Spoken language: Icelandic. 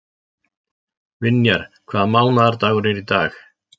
Vinjar, hvaða mánaðardagur er í dag?